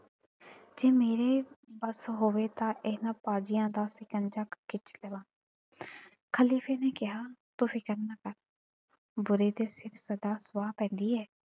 ਜੇ ਮੇਰੇ ਵੱਸ ਹੋਵੇ ਤਾ ਇਨ੍ਹਾਂ ਕਾਜ਼ੀਆਂ ਦਾ ਸ਼ਿਕੰਜਾ ਖਿਚ ਦਵਾ। ਖ਼ਲੀਫ਼ੇ ਨੇ ਕਿਹਾ ਤੂੰ ਫ਼ਿਕਰ ਨਾ ਕਰ। ਬੁਰੇ ਦੇ ਸਿਰ ਸਦਾ ਸੁਆਹ ਪੈਂਦੀ ਏ।